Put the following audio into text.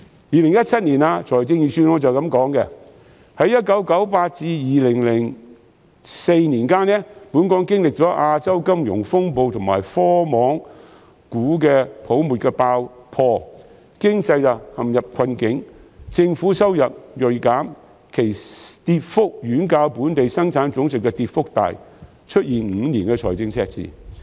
2017年的預算案是這樣說的："在1998年至2004年間，本港經歷了亞洲金融風暴及科網股泡沫爆破，經濟陷入困境，政府收入銳減，其跌幅遠較本地生產總值的跌幅大，出現5年財政赤字。